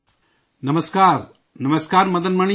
نمسکار... نمسکار مدن جی